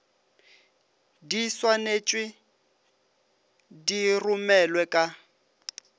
di swanetšwe di romelwe ka